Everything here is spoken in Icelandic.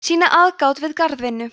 sýna aðgát við garðvinnu